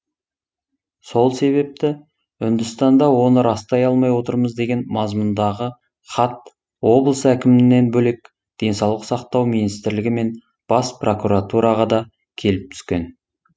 сол себепті үндістанда оны растай алмай отырмыз деген мазмұндағы хат облыс әкімнен бөлек денсаулық сақтау министрлігі мен бас прокуратураға да келіп түскен